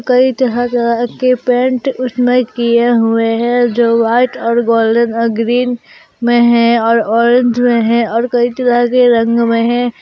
कई तरह तरह के पेंट उसमें किए हुआ है जो व्हाइट और गोल्डन अ ग्रीन में हैं और ऑरेंज में है और कई तरह के रंग में हैं।